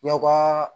Yawaa